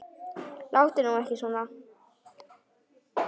Láttu nú ekki svona